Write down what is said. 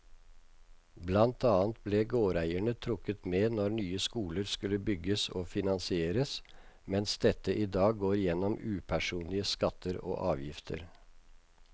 Blant annet ble gårdeierne trukket med når nye skoler skulle bygges og finansieres, mens dette i dag går gjennom upersonlige skatter og avgifter.